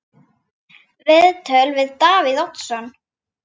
Viðtöl við Davíð Oddsson